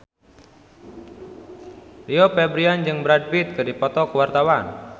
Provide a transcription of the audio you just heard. Rio Febrian jeung Brad Pitt keur dipoto ku wartawan